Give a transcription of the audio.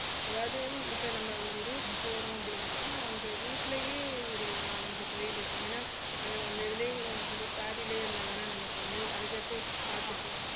அதாவது இப்ப நம்ம ஒரு route போறோம் அப்படின்னாக்கா அந்த route லயே ஒரு நாலஞ்சு கோயில் இருக்கும் ஏன்னா அந்த இதுலயே இந்த இருந்தாதானே நமக்கு வந்து அடுத்தடுத்து பாத்துட்டு